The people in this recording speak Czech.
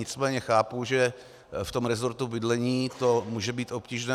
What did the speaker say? Nicméně chápu, že v tom resortu bydlení to může být obtížné.